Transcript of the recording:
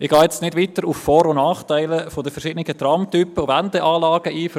Ich gehe jetzt nicht weiter auf die Vor- und Nachteile der verschiedenen Tramtypen und Wendeanlagen ein.